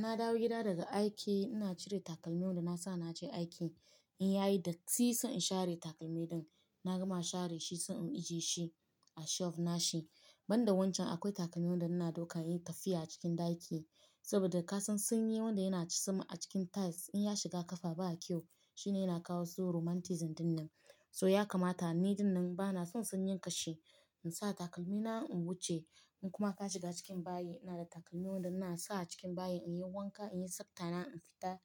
Na dawo gida daga aiki, ina cire takalmin da na sa na je aiki. In yayi datti, zan share takalmi na. Na gama share shi, zan ije shi a shelf nashi. Banda wancan, akwai takalmin da ina dauka in yi tafiya a cikin ɗaki. Saboda ka san sanyi wanda yana cisme a cikin tiles in ya shiga kafa ba kyau. Shine yana kawo su rheumatoid dinnan. So ya kamata ni dinnan bana son sanyi kashe. In sa takalmi na in wuce, in kuma ka shiga cikin bayi. Ina da takalmi wanda ina sa a cikin bayi in yi wanka, in yi saptana, in fita